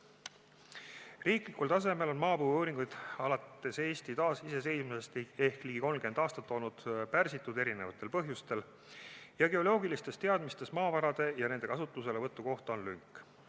Riiklikul tasemel on maapõueuuringud alates Eesti taasiseseisvumisest ehk ligi 30 aastat olnud erinevatel põhjustel pärsitud ja geoloogilistes teadmistes maavarade ja nende kasutuselevõtu kohta on lünk.